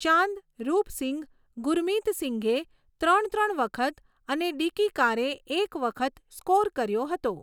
ચાંદ, રૂપ સિંઘ, ગુરમિત સિંઘે ત્રણ ત્રણ વખત અને ડિકી કારે એક વખત સ્કોર કર્યો હતો.